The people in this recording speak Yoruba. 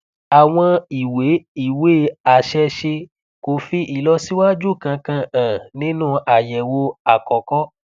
àwọn ìwé ìwé àṣẹṣe kò fi ìlọsíwájú kankan hàn nínú àyẹwò àkọkọ